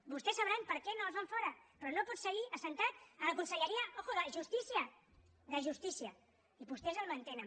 vostè sabran per què no el fan fora però no pot seguir assegut a la conselleria atenció de justícia de justícia i vostès el mantenen